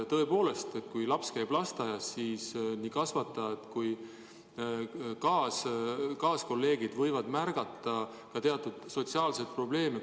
Tõepoolest, kui laps käib lasteaias, ka siis nii tema kasvatajad kui nende kolleegid võivad märgata teatud sotsiaalseid probleeme.